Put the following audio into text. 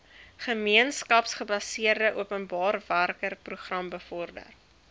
gemeenskapsgebaseerde openbarewerkeprogram bevorder